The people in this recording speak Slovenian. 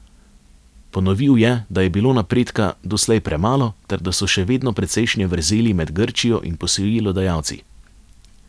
Ponovil je, da je bilo napredka doslej premalo ter da so še vedno precejšnje vrzeli med Grčijo in posojilodajalci.